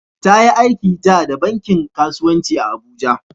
Ta yi aiki dah da bankin kasuwanci a'Abuja.